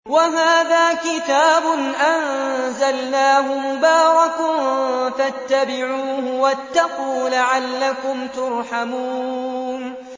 وَهَٰذَا كِتَابٌ أَنزَلْنَاهُ مُبَارَكٌ فَاتَّبِعُوهُ وَاتَّقُوا لَعَلَّكُمْ تُرْحَمُونَ